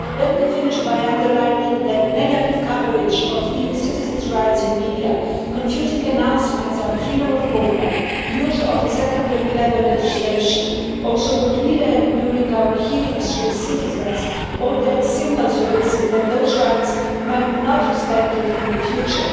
Let me finish by underlining that negative coverage of EU citizens' rights in media, confusing announcements on freedom of movement, use of a secondary level legislation, also what we learned during our hearings with citizens, all that signals the risk that those rights might not be respected in the future.